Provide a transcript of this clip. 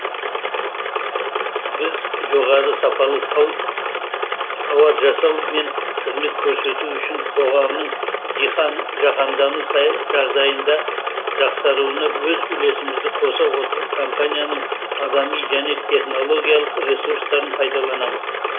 біз жоғары сапалы тауар жасау мен қызмет көрсету үшін қоғамның жаһандану сай жағдайында жақсаруыны өз үлесімізді қоса отырып компанияның адами және технологиялық ресурстарын пайдаланамыз